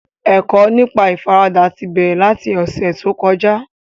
Ẹ̀kọ́ nípa ìfaradà ti bẹ̀rẹ̀ láti ọ̀sẹ̀ tó kọjá